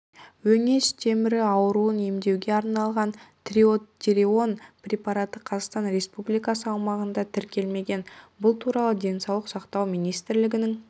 өңеш темірі ауруын емдеуге арналған трийодтиронин препараты қазақстан республикасы аумағында тіркелмеген бұл туралы денсаулық сақтау министрлігінің